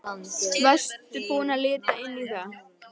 Varstu búinn að líta inn í það?